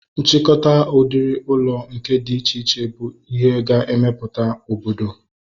Nchịkọta udiri ụlọ nke dị iche iche bụ ihe ga-emeputa obodo